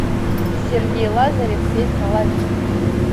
сергей лазарев песня лови